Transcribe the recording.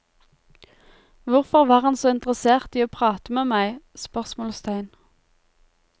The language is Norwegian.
Hvorfor var han så interessert i å prate med meg? spørsmålstegn